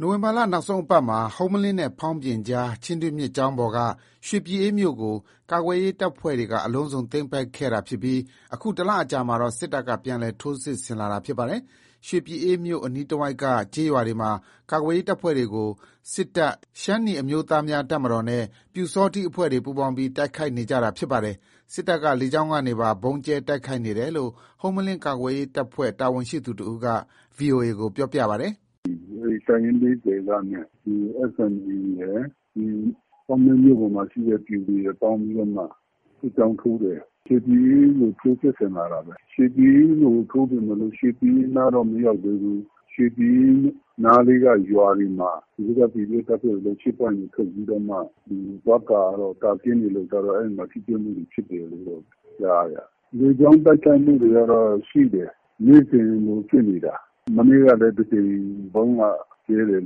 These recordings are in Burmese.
နိုဝင်ဘာလ နောက်ဆုံးအပတ်မှာ ဟုမ္မလင်းနဲ့ ဖေါင်းပြင်ကြား ချင်းတွင်းမြစ်ကြောင်းပေါ်က ရွှေပြည်အေးမြို့ကို ကာကွယ်ရေး တပ်ဖွဲ့တွေက အလုံးစုံသိမ်းပိုက်ခဲ့တာဖြစ်ပြီး အခု ၁ လအကြာမှာတော့ စစ်တပ်က ပြန်လည်ထိုးစစ် ဆင်လာတာ ဖြစ်ပါတယ်။ ရွှေပြည်အေးမြို့ အနီးတဝိုက်က ကျေးရွာတွေမှာ ကာကွယ်ရေး တပ်ဖွဲ့တွေကို စစ်တပ်၊ ရှမ်းနီအမျိုးသားများ တပ်မတော်နဲ့ ပျူစောထီး အဖွဲ့တွေ ပူးပေါင်းပြီး တိုက်ခိုက်နေကြတာ ဖြစ်ပါတယ်။ စစ်တပ်ဘက်က လေကြောင်းကနေပါ ဗုံးကြဲ တိုက်ခိုက်နေတယ်လို့ ဟုမ္မလင်း ကာကွယ်ရေး တပ်ဖွဲ့တာဝန်ရှိသူ တဦးက VOA ကို ပြောပါတယ်။ “တပ်ရင်း ၄၀ က နဲ့ SNA ရယ် ဟုမ္မလင်း မြို့ပေါ်မှာရှိတဲ့ ပျူရယ်ပေါင်းပြီးတော့မှ စစ်ကြောင်းထိုးတယ်။ ရွှေပြည်အေးကို ထိုးစစ်ဆင်လာတာပဲ။ ရွှေပြည်အေးကိုထိုးပေမယ့် ရွှေပြည်အေးနားတော့ မရောက်သေးဘူး။ ရွှေပြည်အေးနားက ရွာတွေမှာ ဒီဘက် ကာကွယ်ရေးတပ်ဖွဲ့တွေက ရှေ့ပွိုင့်တွေ ထွက်ပြီးတော့ သွားကာတော့ အဲ့မှာ ထိတွေ့မှုတွေ ဖြစ်နေတယ်။ လေကြောင်းတိုက်ခိုက်မှု တွေကရှိတယ်။ နေ့စဉ်လိုလို ဖြစ်နေတာ။ မနေ့လည်း တကြိမ်ဗုံးလာကြဲတယ်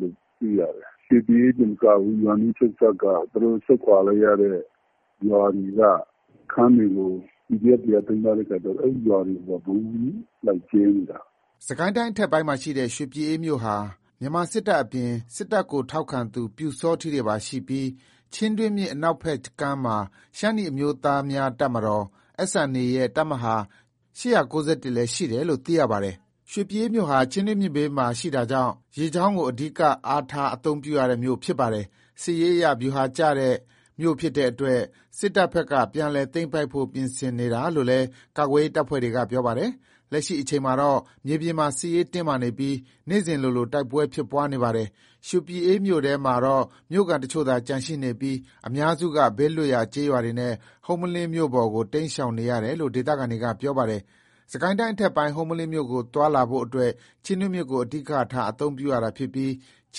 လို့သိရတယ်။ ရွှေပြည်အေး တင်မကဘူး သူတို့ဆုတ်ခွာ လိုက်ရတဲ့ ရွာတွေက စခန်းတွေကို ကာကွယ်ရေးတပ်ဖွဲ့တွေက သိမ်းထားတော့ အဲ့ရွာတွေကိုပါ ဗုံးလိုက်ကြဲနေတာ။” စစ်ကိုင်းတိုင်း အထက်ပိုင်းမှာရှိတဲ့ ရွှေပြည်အေးမြို့ဟာ မြန်မာစစ်တပ်အပြင် စစ်တပ်ကို ထောက်ခံသူ ပျူစောထီးတွေပါရှိပြီး ချင်းတွင်းမြစ် အနောက်ဖက်ကမ်းမှာ ရှမ်းနီအမျိုးသားများ တပ်မတော် SNA ရဲ့တပ်မဟာ လည်း ရှိတယ်လို့ သိရပါတယ်။ ရွှေပြည်အေးမြို့ဟာ ချင်းတွင်းမြစ်ဘေးမှာတာကြောင့်လည်း ရေကြောင်းကို အဓိက အားထား အသုံးပြုရတဲ့ မြို့ဖြစ်ပါတယ်။ စစ်ရေးအရ ဗျူဟာကျတဲ့ မြို့ဖြစ်တဲ့အတွက် စစ်တပ်ဘက်က ပြန်လည်သိမ်းပိုက်ဖို့ ပြင်ဆင်နေတာလို့လည်း ကာကွယ်ရေး တပ်ဖွဲ့တွေက ပြောပါတယ်။ လက်ရှိအချိန်မှာတော့ မြေပြင်မှာ စစ်ရေးတင်းမာနေပြီး နေ့စဉ်လိုလို တိုက်ပွဲဖြစ်ပွါး နေတာပါ။ ရွှေပြည်အေးမြို့ထဲမှာတော့ မြို့ခံအချို့သာ ကျန်ရှိနေပြီး အများစုက ဘေးလွတ်ရာ ကျေးရွာတွေနဲ့ ဟုမ္မလင်းမြို့ပေါ်ကို တိမ်းရှောင်နေရတယ်လို့ ဒေသခံတွေက ပြောပါတယ်။ စစ်ကိုင်းတိုင်း အထက်ပိုင်း ဟုမ္မလင်းမြို့ကို သွားလာဖို့အတွက် ချင်းတွင်းမြစ်ကို အဓိကထား အသုံးပြုနေရတာဖြစ်ပြီး ချ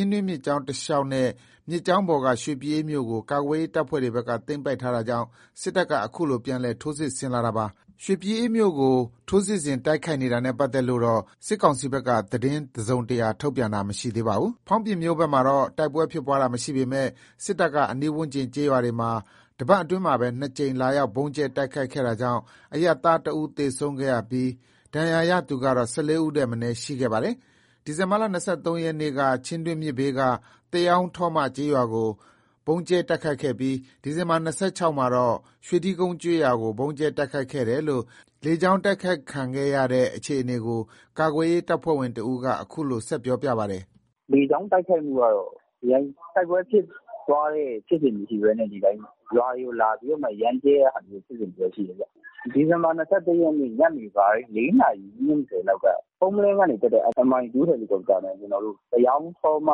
င်းတွင်းမြစ်ကြောင်း တလျှောက်နဲ့ မြစ်ကြောင်းပေါ်က ရွှေပြည်အေး မြို့ကို ကာကွယ်ရေး တပ်ဖွဲ့တွေဘက်က သိမ်းပိုက်ထားတာကြောင့် စစ်တပ်က အခုလို ပြန်လည် ထိုးစစ်ဆင်လာတာပါ။ ရွှေပြည်အေးမြို့ကို အခုလို ထိုးစစ်ဆင် တိုက်ခိုက်တာနဲ့ပတ်သက်လို့ စစ်ကောင်စီဘက်က သတင်းတစုံတရာ ထုတ်ပြန်တာတော့ မရှိသေးပါဘူး။ ဖောင်းပြင်မြို့ဘက်မှာတော့ တိုက်ပွဲဖြစ်ပွါးမှု မရှိပေမဲ့ စစ်တပ်က အနီးဝန်းကျင်ကျေးရွာတွေမှာ ၁ ပတ်အတွင်းမှာပဲ ၂ ကြိမ် လာရောက် ဗုံးကြဲ တိုက်ခိုက်ခဲ့တာကြောင့် အရပ်သား ၁ ဦး သေဆုံးခဲ့ရပြီး ဒဏ်ရာရသူကတော့ ၁၄ ဦး ထက်မနည်း ရှိခဲ့တာပါ။ ဒီဇင်ဘာ ၂၃ ရက်နေ့က ချင်းတွင်း မြစ်ဘေးက သရောင်း ထောမ ကျေးရွာကို ဗုံးကြဲတိုက်ခိုက်ခဲ့ပြီး ဒီဇင်ဘာ ၂၆ မှာတော့ ရွှေထီးကုန်း ကျေးရွာကို ဗုံးကြဲတိုက်ခိုက်ခဲ့တယ်လို့ လေကြောင်းတိုက်ခိုက်မှုခံခဲ့ရတဲ့ အခြေအနေကို ကာကွယ်ရေး တပ်ဖွဲ့ဝင်တဦးက အခုလို ပြောပြပါတယ်။ “လေကြောင်းတိုက်ခိုက်မှုက တိုက်ပွဲဖြစ်ပွားတဲ့ ဖြစ်စဉ်မရှိဘဲ ဒီအတိုင်း ရွာတွေကို ရမ်းကြဲတဲ့ဖြစ်စဉ်တော့ ရှိတယ်။ ဒီဇင်ဘာ ၂၃ ရက် ညနေပိုင်း ၄ နာရီ ၂၀ လောက်က ဟုမ္မလင်းက တက်တဲ့ MI2 ထင်တယ်။ သရောင်း ထောမ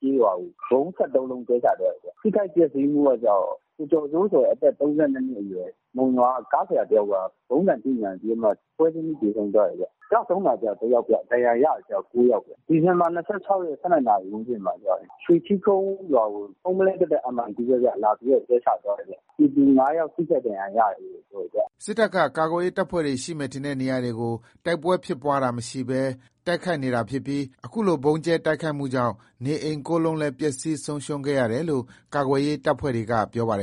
ကျေးရွာကို ဗုံး ၁၃ လုံး ကြဲချသွားတယ်။ ထိခိုက်ပျက်စီးမှုက ကိုကျော်စိုးဆိုတဲ့ အသက် ၃၂ နှစ်အရွယ် မုံရွာက ကားဆရာတယောက်က ဗုံးဆံထိမှန်ပြီးတော့ ပွဲချင်းပြီး သေဆုံးသွားတယ်။ ကျဆုံးတာက ၁ ယောက်ဗျ။ ဒဏ်ရာရတာက ၉ ယောက်ခင်ဗျ။ ဒီဇင်ဘာ ၂၆၊ ၁၂ နာရီဝန်းကျင်မှာ ရွှေထီးကုန်းရွာကို ဟုမ္မလင်းတက်တဲ့ MI2 ပဲ ဗုံးလာကြဲသွားတယ်။ ပြည်သူ ၅ ယောက်ထိခိုက်ဒဏ်ရာရတယ်။ အသေးစိတ်ကိုတော့ ဆက်လက်စုံစမ်းနေဆဲပဲ။ ” စစ်တပ်က ကာကွယ်ရေး တပ်ဖွဲ့တွေရှိမယ်ထင်တဲ့ နေရာတွေကို တိုက်ပွဲဖြစ်တာမရှိဘဲ တိုက်ခိုက်နေတာ ဖြစ်ပြီး အခုလို ဗုံးကြဲ တိုက်ခိုက်မှုကြောင့် နေအိမ် ၉ လုံးလည်း ပျက်စီး ဆုံးရှုံးခဲ့ရတယ်လို့ ကာကွယ်ရေး တပ်ဖွဲ့တွေက ပြောပါတယ်